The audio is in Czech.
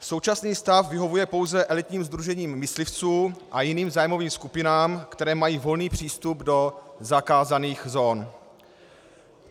Současný stav vyhovuje pouze elitním sdružením myslivců a jiným zájmovým skupinám, které mají volný přístup do zakázaných zón.